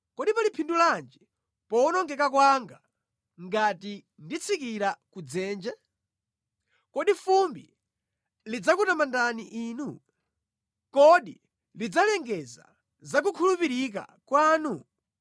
“Kodi pali phindu lanji powonongeka kwanga ngati nditsikira ku dzenje? Kodi fumbi lidzakutamandani Inu? Kodi lidzalengeza za kukhulupirika kwanu?